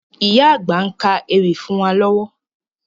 Ìyá àgbà ń ka ewì fún wa lọ́wọ́